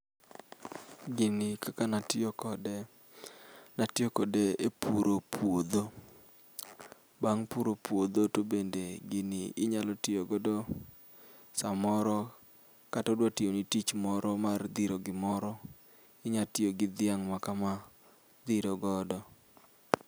Gini kaka natiyo kode ne atiyo kode epuro puodho bang' puro puodho, tobende gini inyalo tiyo godo samoro kata odwa tiyoni tich moro mar dhiro gimoro inyalo tiyogi dhiang' maka ma dhiro godo.